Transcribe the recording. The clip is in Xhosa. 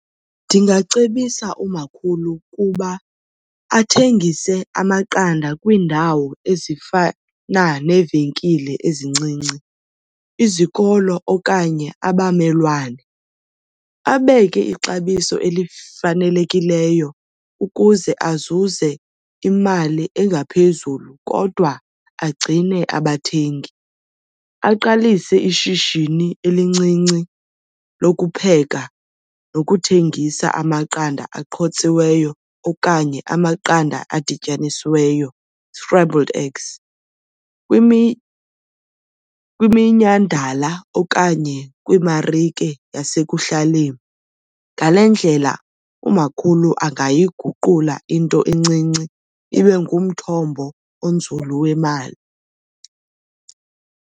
Ndingacebisa umakhulu ukuba athengise amaqanda kwiindawo ezifana neevenkile ezincinci, izikolo okanye abamelwane. Abeke ixabiso elifanelekileyo ukuze azuze imali engaphezulu kodwa agcine abathengi. Aqalise ishishini elincinci lokupheka nokuthengisa amaqanda aqhotsiweyo okanye amaqanda adityanisiweyo, scrambled eggs, kwiminyhadala okanye kwimarike yasekuhlaleni. Ngale ndlela umakhulu angayiguqula into encinci ibe ngumthombo onzulu wemali.